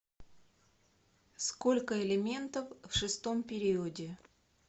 сколько элементов в шестом периоде